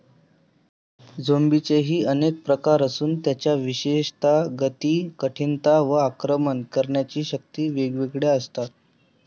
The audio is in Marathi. झोम्बीचेही अनेक प्रकार असून त्यांच्या विशेषतः, गती, कठिणता, व आक्रमण करण्याची शक्ती वेगवेगळ्या असतात.